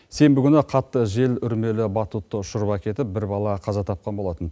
сенбі күні қатты жел үрмелі батутты ұшырып әкетіп бір бала қаза тапқан болатын